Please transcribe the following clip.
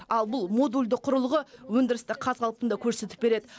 ал бұл модульді құрылғы өндірісті қаз қалпында көрсетіп береді